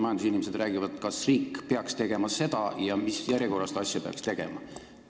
Majandusinimesed räägivad sellest, kas riik peaks midagi tegema ja mis järjekorras seda asja peaks tegema.